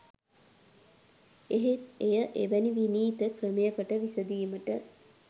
එහෙත් එය එවැනි විනීත ක්‍රමයකට විසඳීමට